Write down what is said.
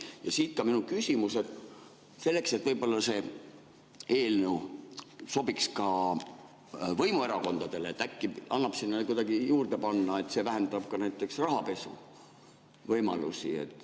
Ja siit ka minu küsimus: selleks, et see eelnõu sobiks ka võimuerakondadele, äkki annab sinna juurde panna, et see vähendab ka näiteks rahapesu võimalusi?